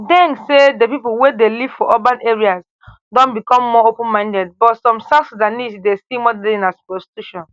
deng say di pipo wey dey live for urban areas don become more openminded but some south sudanese dey see modelling as prostitution